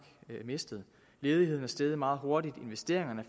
mistet ledigheden er steget meget hurtigt investeringerne